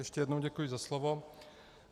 Ještě jednou děkuji za slovo.